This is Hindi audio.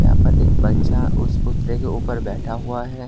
यहां पर एक बच्चा उस पुतले के ऊपर बैठा हुआ है।